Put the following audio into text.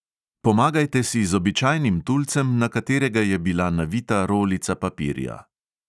Pomagajte si z običajnim tulcem, na katerega je bila navita rolica papirja.